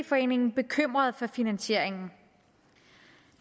foreningen bekymrede for finansieringen